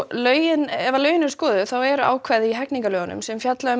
lögin ef lögin eru skoðuð eru ákvæði í almennum hegningarlögum sem fjalla um